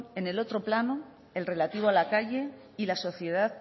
en el otro plano el relativo a la calle y la sociedad